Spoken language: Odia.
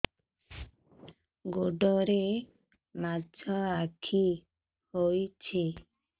ଗୋଡ଼ରେ ମାଛଆଖି ହୋଇଛି